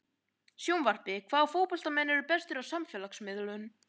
Sjónvarpið: Hvaða fótboltamenn eru bestir á samfélagsmiðlum?